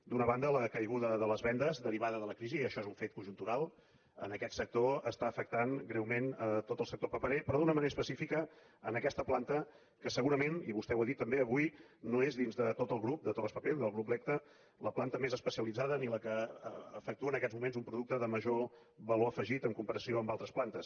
d’una banda la caiguda de les vendes derivada de la crisi i això és un fet conjuntural en aquest sector està afectant greument tot el sector paperer però d’una manera específica aquesta planta que segurament i vostè ho ha dit també avui no és dins de tot el grup de torraspapel del grup lecta la planta més especialitzada ni la que efectua en aquests moments un producte de major valor afegit en comparació amb altres plantes